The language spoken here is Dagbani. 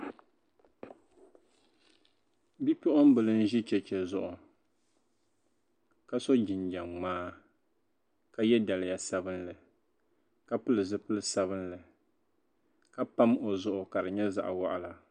bipuɣimbila n-ʒi cheche zuɣu ka so jinjam ŋmaa ka ye daliya sabilinli ka pili zipil' sabilinli ka pam o zuɣu ka di nyɛ zaɣ' waɣila